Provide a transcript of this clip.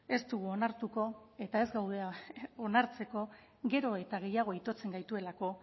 ez dugu onartuko eta ez gaude onartzeko gero eta gehiago itotzen gaituelako